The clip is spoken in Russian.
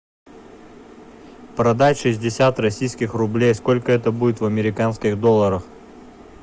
продать шестьдесят российских рублей сколько это будет в американских долларах